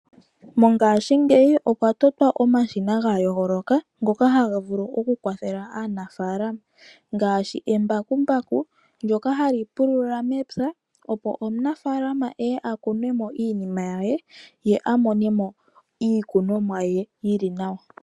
Mongaashingeyi okwa totwa omashina ga yooloka ngoka haga vulu oku kwathela aanafaalama ngaashi embakumbaku ndoka hali pulula mepya, opo omunafaalama eye a kune mo iinima ye, ye a mone mo iikunomwa ye yili nawa.